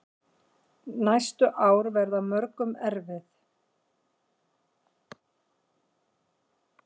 Næstu ár verði mörgum erfið.